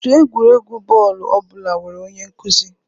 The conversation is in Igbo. Otu egwuregwu bọọlụ ọ bụla nwere onye nkuzi